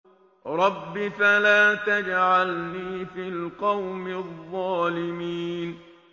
رَبِّ فَلَا تَجْعَلْنِي فِي الْقَوْمِ الظَّالِمِينَ